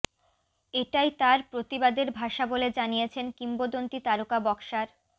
এটাই তার প্রতিবাদের ভাষা বলে জানিয়েছেন কিংবদন্তী তারকা বক্সার